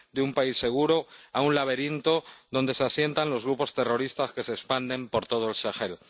de un país seguro a un laberinto donde se asientan los grupos terroristas que se expanden por todo el Sahel.